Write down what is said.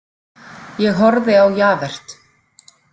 Ég horfði á Javert.